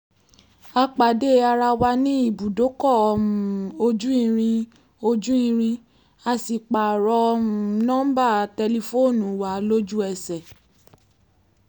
a pàdé ara wa ní ibùdókọ̀ um ojú irin ojú irin a sì pààrọ̀ um nọ́ńbà tẹlifóònù wa lójú ẹsẹ̀